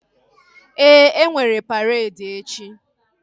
Ee, enwere paredi echi